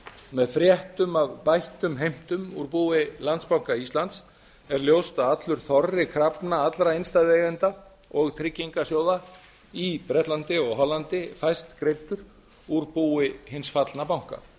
með fréttum af bættum heimtum úr búi landsbanka íslands er ljóst að allur þorri krafna allra innstæðueigenda og tryggingarsjóða í bretlandi og hollandi fæst greiddur úr búi hins fallna banka